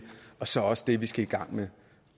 og så også det vi skal i gang med